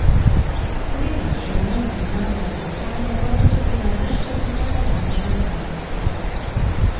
Srednja šola in gimnazija Domžale pa bo dobila težko pričakovano telovadnico.